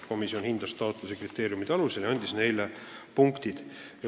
Komisjon hindas taotlusi nende kriteeriumide alusel ja andis oma punktid.